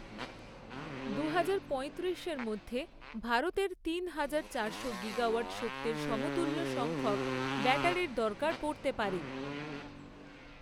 দুহাজার পঁয়ত্রিশের মধ্যে ভারতের তিন হাজার চারশো গিগাওয়াট শক্তির সমতুল্য সংখ্যক ব্যাটারির দরকার পড়তে পারে।